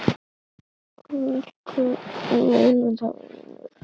Viltu muna það, vinur?